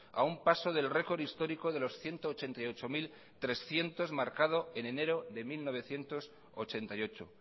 a un paso del récord histórico de los ciento ochenta y ocho mil trescientos marcado en enero de mil novecientos ochenta y ocho